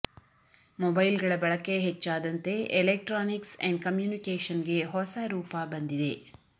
ಮೊಬೈಲ್ಗಳ ಬಳಕೆ ಹೆಚ್ಚಾದಂತೆ electronics and ಕಮ್ಯೂನಿಕೇಷನ್ಗೆ ಹೊಸ ರೂಪ ಬಂದಿದೆ